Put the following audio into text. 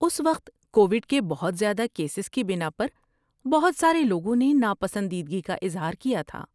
اس وقت کووڈ کے بہت زیادہ کیسز کی بنا پر بہت سارے لوگوں نے ناپسندیدگی کا اظہار کیا تھا۔